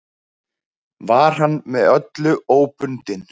Var hann með öllu óbundinn.